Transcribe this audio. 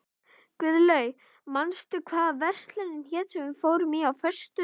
Guðlaug, manstu hvað verslunin hét sem við fórum í á föstudaginn?